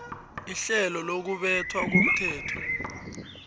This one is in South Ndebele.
ihlelo lokubethwa komthetho